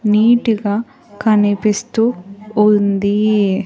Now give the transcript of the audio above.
Neat గా కనిపిస్తూ ఉంది.